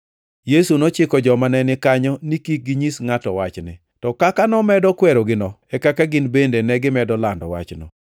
Yesu nochiko joma nenikanyo ni kik ginyis ngʼato wachni. To kaka nomedo kwerogino e kaka gin bende negimedo lando wachno.